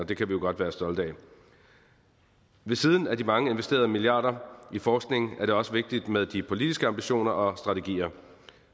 det kan vi jo godt være stolte af ved siden af de mange investerede milliarder i forskning er det også vigtigt med de politiske ambitioner og strategier